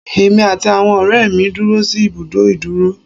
Èmi àti àwọn ọ̀rẹ́ mi dúró sí ìbùdó ìdúró.